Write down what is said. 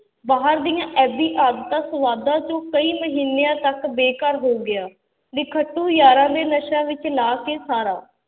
ਬਾਹਰ ਦੀਆਂ ਐਬੀ ਆਦਤਾਂ ਸਵਾਦਾਂ ਚੋਂ ਕਈ ਮਹੀਨਿਆਂ ਤੱਕ ਬੇਘਰ ਹੋ ਗਿਆ, ਨਿਖੱਟੂ ਯਾਰਾਂ ਨੇ ਨਸ਼ਿਆਂ ਵਿੱਚ ਲਾ ਕੇ ਸਾਰਾ।